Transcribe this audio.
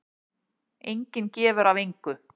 Enginn gefur af engu.